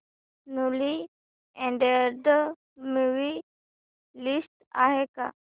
newly added movie list आहे का